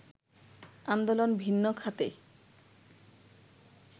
আন্দোলন ভিন্ন খাতে